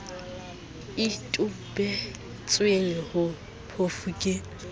e tobisitsweng ho phofu ke